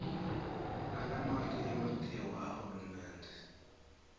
nalamanye ematiko ahulumende